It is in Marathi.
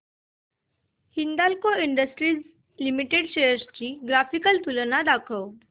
हिंदाल्को इंडस्ट्रीज लिमिटेड शेअर्स ची ग्राफिकल तुलना दाखव